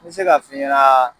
N bɛ se k'a f'i ɲanaa